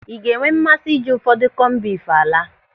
Ị ga-enwe mmasị ije ụfọdụ kọmbif álà?